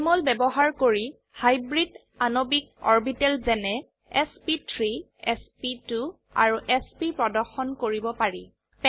Jmol ব্যবহাৰ কৰি hybrid আণবিক অৰবিটেল যেনে এছপি3 এছপি2 আৰু এছপি প্ৰদৰ্শন কৰিব পাৰি